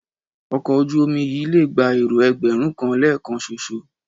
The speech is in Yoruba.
Ọkọ̀ ojú-omi yìí lè gba èrò ẹgbẹ̀rún kan lẹ́ẹ̀kan ṣoṣo